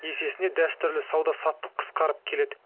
есесіне дәстүрлі сауда саттық қысқарып келеді